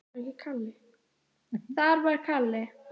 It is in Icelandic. Það var Kalli.